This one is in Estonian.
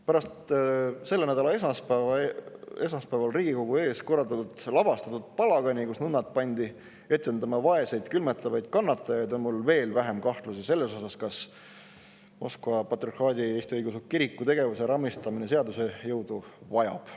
Pärast selle nädala esmaspäeval Riigikogu ees lavastatud palagani, kus nunnad pandi etendama vaeseid külmetavaid kannatajaid, on mul veel vähem kahtlusi selles osas, kas Moskva Patriarhaadi Eesti Õigeusu Kiriku tegevuse raamistamine seaduse jõudu vajab.